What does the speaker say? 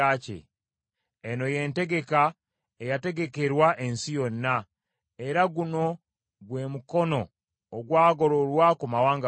Eno y’entegeka eyategekerwa ensi yonna: era guno gwe mukono ogwagololwa ku mawanga gonna.